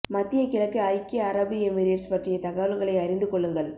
மத்திய கிழக்கு ஐக்கிய அரபு எமிரேட்ஸ் பற்றிய தகவல்களை அறிந்து கொள்ளுங்கள்